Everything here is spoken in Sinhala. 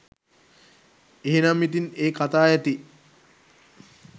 එහෙනම් ඉතින් ඒ කතා ඇති